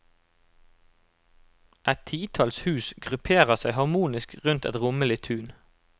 Et titalls hus grupperer seg harmonisk rundt et rommelig tun.